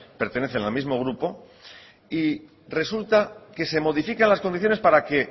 pertenecen a la mismo grupo y resulta que se modifican las condiciones para que